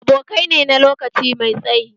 Abokai ne na lokaci mai tsayi